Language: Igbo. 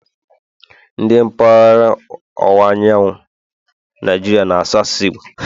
Ndi mpaghara ọwụwa anyanwụ Naijiria na-asụ asụsụ Igbo